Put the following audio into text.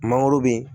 Mangoro be